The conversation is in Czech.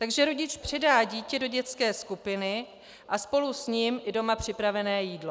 Takže rodič předá dítě do dětské skupiny a spolu s ním i doma připravené jídlo.